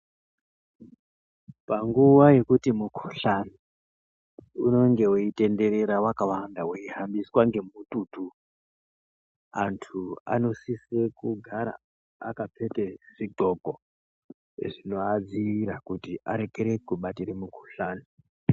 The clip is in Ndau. Panguwa yekuti mukhuhlani unenge weitenderera wakawanda wehambiswa ngemututu anthu anosise kugara akapfeke zviqoko zvinoadziirire kuti arekere kubatire mukhuhlani.